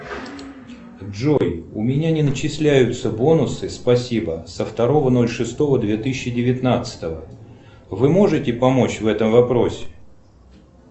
джой у меня не начисляются бонусы спасибо со второго ноль шестого две тысячи девятнадцатого вы можете помочь в этом вопросе